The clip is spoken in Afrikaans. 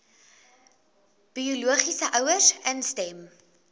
biologiese ouers instem